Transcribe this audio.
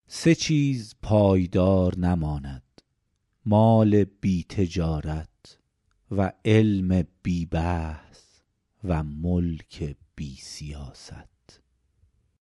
سه چیز پایدار نماند مال بی تجارت و علم بی بحث و ملک بی سیاست